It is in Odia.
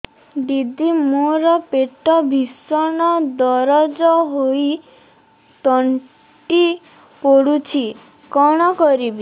ଦିଦି ମୋର ପେଟ ଭୀଷଣ ଦରଜ ହୋଇ ତଣ୍ଟି ପୋଡୁଛି କଣ କରିବି